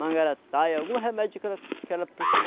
Mangarataia, algum remédio que ela que ela